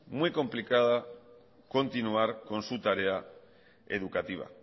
muy complicado continuar con su tarea educativa